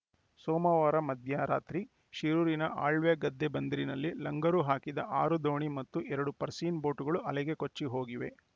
ಸೋಮವಾರ ಮಧ್ಯರಾತ್ರಿ ಶಿರೂರಿನ ಅಳ್ವೆಗದ್ದೆ ಬಂದರಿನಲ್ಲಿ ಲಂಗರು ಹಾಕಿದ ಆರು ದೋಣಿ ಮತ್ತು ಎರಡು ಪರ್ಸೀನ್‌ ಬೋಟ್‌ಗಳು ಅಲೆಗೆ ಕೊಚ್ಚಿಹೋಗಿವೆ